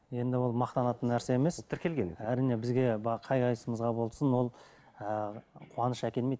енді ол мақтанатын нәрсе емес әрине бізге қай қайсысымызға болсын ол ыыы қуаныш әкелмейді